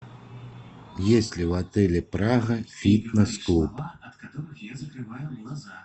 есть ли в отеле прага фитнес клуб